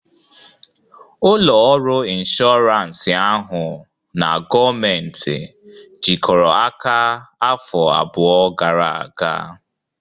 Ụlọ ọrụ inshọransị ahụ na gọọmentị jikọrọ aka afọ abụọ gara aga